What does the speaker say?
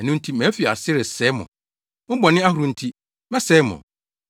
Ɛno nti, mafi ase resɛe mo, Mo bɔne ahorow nti, mɛsɛe mo.